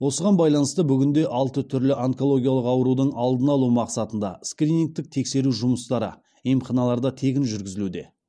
осыған байланысты бүгінде алты түрлі онкологиялық аурудың алдын алу мақсатында скринингтік тексеру жұмыстары емханаларда тегін жүргізілуде